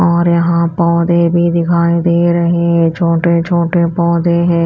और यहां पौधे भी दिखाई दे रहे हैं छोटे छोटे पौधे हैं।